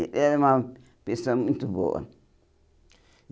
Ele era uma pessoa muito boa.